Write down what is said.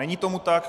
Není tomu tak.